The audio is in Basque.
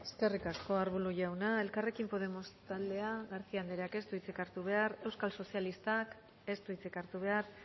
de las suyas gracias eskerrik asko arbulo jauna elkarrekin podemos taldea garcía andreak ez du hitzik hartu behar euskal sozialistak ez du hitzik hartu behar